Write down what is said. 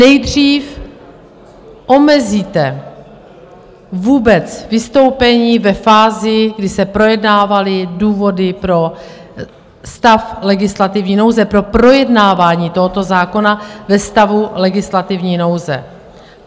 Nejdřív omezíte vůbec vystoupení ve fázi, kdy se projednávaly důvody pro stav legislativní nouze, pro projednávání tohoto zákona ve stavu legislativní nouze.